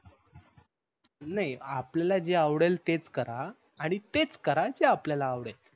नाही आपल्याला जे आवडेल तेच करा आणि तेच करा जे आपल्याला आवडेल.